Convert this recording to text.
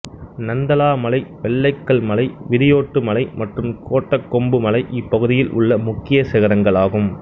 நந்தலா மலை வெள்ளைக்கல் மலை விரியோட்டு மலை மற்றும் கோட்டகொம்பு மலை இப்பகுதியில் உள்ள முக்கிய சிகரங்கள் ஆகும்